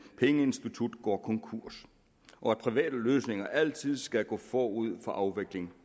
pengeinstitutter går konkurs og at private løsninger altid skal gå forud for afvikling